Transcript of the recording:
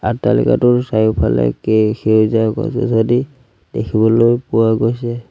আট্টালিকাটোৰ চাৰিওফালে কে সেউজীয়া গছ-গছনি দেখিবলৈ পোৱা গৈছে।